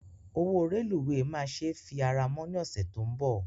Owó rélùweè máa se fi ara mọ́ ní ọ̀sẹ̀ tó ń bọ̀